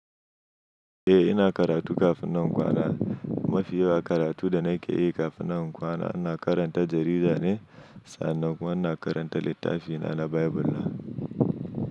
Eh ina karatu kafin na kwana. Mafi yawan karatu da nake yi kafin na kwana ina karanta jarida ne sannan kuma ina karanta littafina na Bible na.